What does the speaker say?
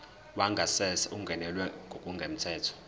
wangasese ungenelwe ngokungemthetho